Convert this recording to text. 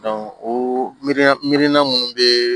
o mi miiri mi mirina minnu bɛ